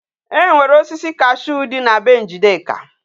E nwere osisi cashew di na be njideka